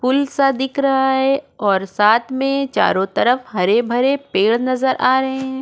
पुल सा दिख रहा है और साथ में चारों तरफ हरे भरे पेड़ नजर आ रहे हैं।